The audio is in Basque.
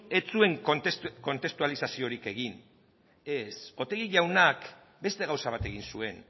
ez zuen kontestualizaziorik egin ez otegi jaunak beste gauza bat egin zuen